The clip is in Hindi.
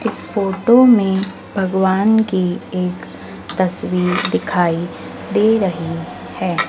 इस फोटो में भगवान की एक तस्वीर दिखाई दे रही है।